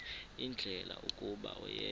ndlela kuba oyena